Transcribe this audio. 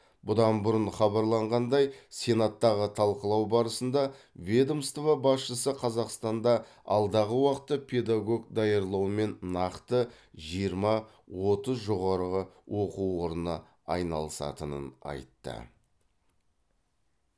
бұдан бұрын хабарланғандай сенаттағы талқылау барысында ведомство басшысы қазақстанда алдағы уақытта педагог даярлаумен нақты жиырма отыз жоғары оқу орны айналысатынын айтты